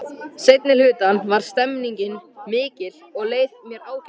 Seinni hlutann var stemningin mikil og leið mér ágætlega.